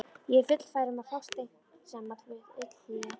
Ég er fullfær um að fást einsamall við illþýði!